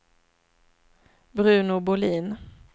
Bruno Bohlin